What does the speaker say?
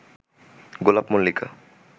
গোলাপ, মল্লিকা